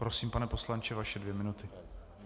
Prosím, pane poslanče, vaše dvě minuty.